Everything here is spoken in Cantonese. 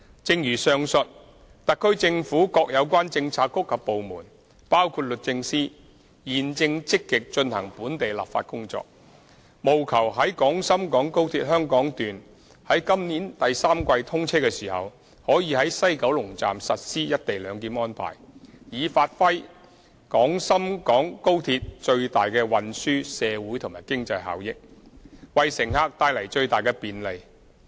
正如上述，特區政府各有關政策局及部門，包括律政司，現正積極進行本地立法工作，務求在廣深港高鐵香港段在今年第三季通車時，可在西九龍站實施"一地兩檢"安排，以發揮廣深港高鐵最大的運輸、社會和經濟效益，為乘客帶來最大的便利。